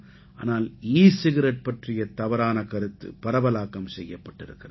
ஆனால் e cigarette பற்றிய தவறான கருத்து பரவலாக்கம் செய்யப்பட்டிருக்கிறது